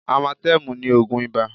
Amatẹ́mù ni ògùn ibà